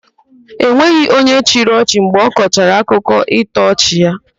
E nweghị onye chịrị ọchị mgbe ọkọchara akụkọ ịtọ ọchị ya.